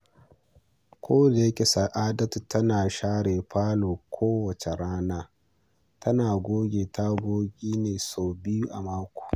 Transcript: Kodayake Sa’adatu tana share falo kowace rana, tana goge tagogi ne sau biyu a mako.